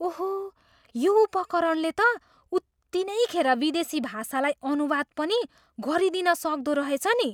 ओहो! यो उपकरणले त उत्तिनै खेर विदेशी भाषालाई अनुवाद पनि गरिदिन सक्दो रहेछ नि ।